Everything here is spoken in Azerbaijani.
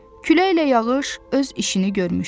Küləklə yağış öz işini görmüşdü.